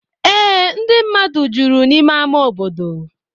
Ee, ndị mmadụ juru n’ime ama obodo.